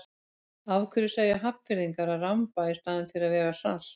Af hverju segja Hafnfirðingar að ramba í staðinn fyrir að vega salt?